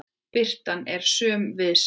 Birtan er söm við sig.